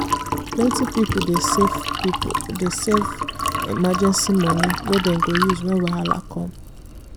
plenty people dey save people dey save emergency money wey dem go use when wahala come.